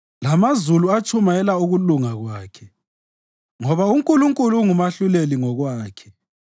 Lamazulu atshumayela ukulunga kwakhe; ngoba uNkulunkulu ngumahluleli ngokwakhe.